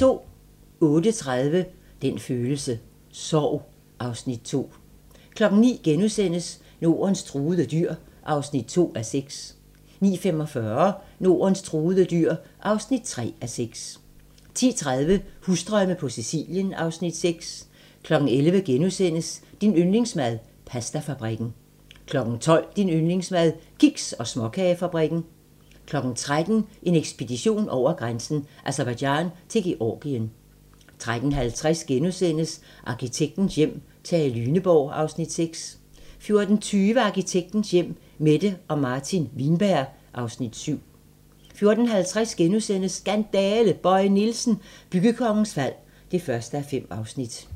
08:30: Den følelse: Sorg (Afs. 2) 09:00: Nordens truede dyr (2:6)* 09:45: Nordens truede dyr (3:6) 10:30: Husdrømme på Sicilien (Afs. 6) 11:00: Din yndlingsmad: Pastafabrikken * 12:00: Din yndlingsmad: Kiks- og småkagefabrikken 13:00: En ekspedition over grænsen: Aserbajdsjan til Georgien 13:50: Arkitektens hjem: Tage Lyneborg (Afs. 6)* 14:20: Arkitektens hjem: Mette og Martin Wienberg (Afs. 7) 14:50: Skandale! – Bøje Nielsen, byggekongens fald (1:5)*